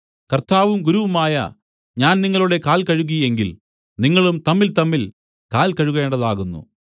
കർത്താവും ഗുരുവുമായ ഞാൻ നിങ്ങളുടെ കാൽ കഴുകി എങ്കിൽ നിങ്ങളും തമ്മിൽതമ്മിൽ കാൽ കഴുകേണ്ടതാകുന്നു